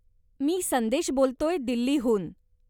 मी संदेश बोलतोय, दिल्लीहून.